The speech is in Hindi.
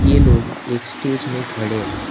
ये लोग एक स्टेज में खड़े है।